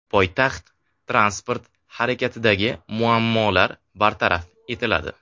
Poytaxt transport harakatidagi muammolar bartaraf etiladi.